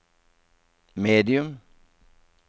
medium